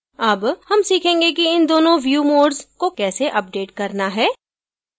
अब हम सीखेंगे कि इन दोनों view modes को कैसे अपडेट करना है